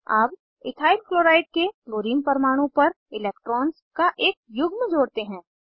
अब ethyl chloride के chlorine परमाणु पर इलेक्ट्रॉन्स का एक युग्म जोड़ते हैं